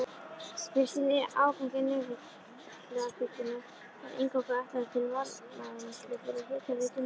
Fyrsti áfangi Nesjavallavirkjunar var eingöngu ætlaður til varmavinnslu fyrir hitaveituna.